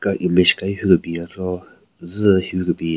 ka image ka hi hyu kebin yatse zü hyu kebin.